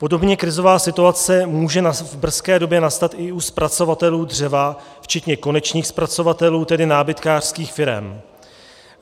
Podobně krizová situace může v brzké době nastat i u zpracovatelů dřeva včetně konečných zpracovatelů, tedy nábytkářských firem.